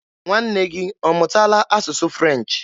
Nwanne gị ọ mụtaala asụsụ French?